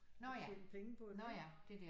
Og tjene penge på det